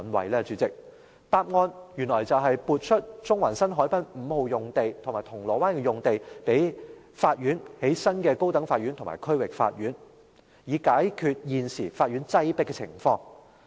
代理主席，答案原來是撥出中環新海濱五號用地和銅鑼灣用地予法院興建新的高等法院和區域法院，以解決現時法院的擠迫情況。